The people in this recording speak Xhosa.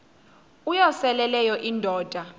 uyosele leyo indoda